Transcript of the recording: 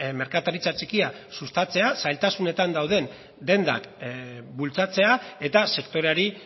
merkataritza txikia sustatzea zailtasunetan dauden dendak bultzatzea eta sektoreari